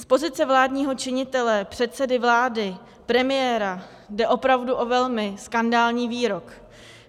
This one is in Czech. Z pozice vládního činitele, předsedy vlády, premiéra jde opravdu o velmi skandální výrok.